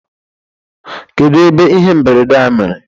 kedu ebe ihe mberede a mere